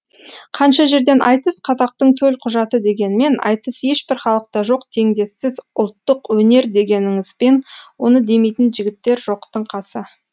қанша жерден айтыс қазақтың төлқұжаты дегенмен айтыс ешбір халықта жоқ теңдессіз ұлттық өнер дегеніңізбен оны демейтін жігіттер жоқтың қасы